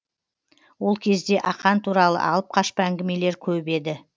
ол кезде ақан туралы алып қашпа әңгімелер көп еді